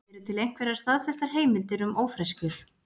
eru til einhverjar staðfestar heimildir um ófreskjur